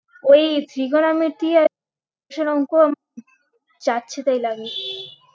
ওই trigonometry এর অংক যাচ্ছে তাই লাগে